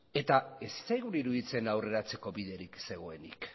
eta ez zitzaigun iruditzen aurreratzeko biderik zegoenik